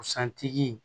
Santigi